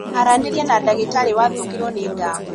Aranĩria na ndagĩtarĩ wathũkĩrwo nĩ ndawa